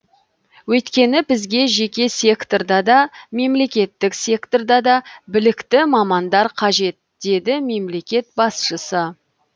өйткені бізге жеке секторда да мемлекеттік секторда да білікті мамандар қажет деді мемлекет басшысы